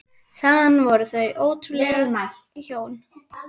Saman voru þau ótrúleg hjón.